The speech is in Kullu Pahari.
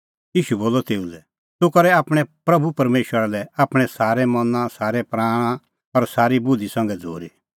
ईशू बोलअ तेऊ लै तूह करै आपणैं प्रभू परमेशरा लै आपणैं सारै मना सारै प्राणा और सारी बुधि संघै झ़ूरी